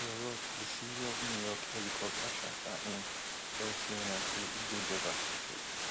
michael roth di ceo of new york helicopter charter inc tell cnn say e dey devastated